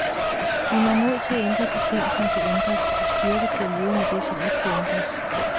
Giv mig mod til at ændre de ting, som kan ændres og styrke til at leve med det, som ikke kan ændres.